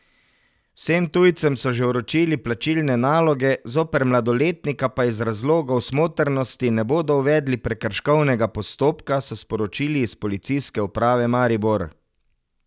Vsem tujcem so že vročili plačilne naloge, zoper mladoletnika pa iz razlogov smotrnosti ne bodo uvedli prekrškovnega postopka, so sporočili iz Policijske uprave Maribor.